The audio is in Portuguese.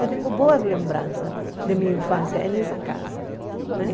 Eu tenho boas lembranças de minha infância nessa casa né.